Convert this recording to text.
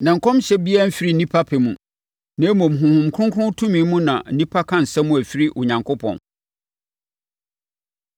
Na nkɔmhyɛ biara mfiri onipa pɛ mu, na mmom, Honhom Kronkron tumi mu na nnipa ka asɛm a ɛfiri Onyankopɔn.